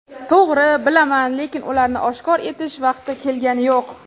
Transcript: To‘g‘ri, bilaman, lekin ularni oshkor etish vaqti kelgani yo‘q.